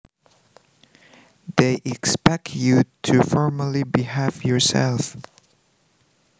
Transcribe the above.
They expect you to formally behave yourself